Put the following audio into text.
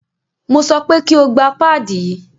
Mo sọ pé kí o gba páàdì yí!